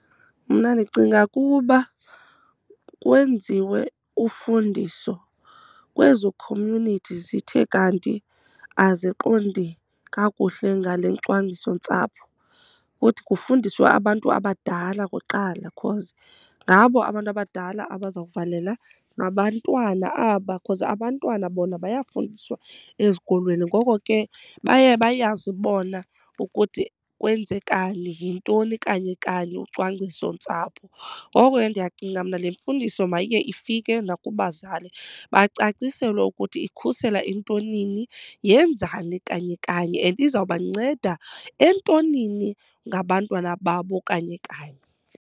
Mna ndicinga kuba kwenziwe ufundiso kwezo community zithe kanti aziqondi kakuhle ngale cwangcisontsapho, futhi kufundiswa abantu abadala kuqala cause ngabo abantu abadala abaza kuvalela abantwana aba cause abantwana bona bayafundiswa ezikolweni. Ngoko ke baye bayazi bona ukuthi kwenzekani, yintoni kanye kanye ucwangciso ntsapho. Ngoko ke ndiyacinga mna le mfundiso mayiye ifike nakubazali, bacaciselwe ukuthi ikhusela entonini yenzani kanye kanye and izawubanceda entonini ngabantwana babo kanye kanye.